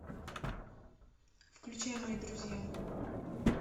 включай мои друзья